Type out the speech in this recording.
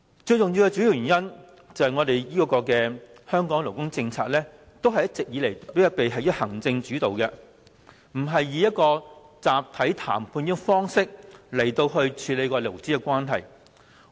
主要原因在於香港的勞工政策一直以行政主導，而不是以集體談判的方式來處理勞資關係。